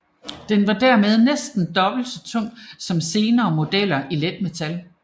Den var dermed næsten dobbelt så tung som senere modeller i letmetal